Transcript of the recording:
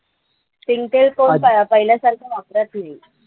शेंगतेल कोण प पहिल्यासारखं वापरत नाही.